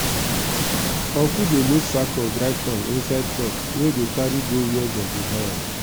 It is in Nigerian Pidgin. uncle dey load sack of dry corn inside truck wey go carry go where dey go buy am.